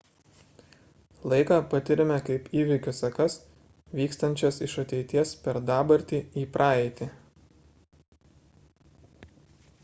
laiką patiriame kaip įvykių sekas vykstančias iš ateities per dabartį į praeitį